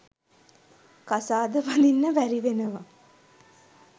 කසාද බඳින්න බැරිවෙනවා.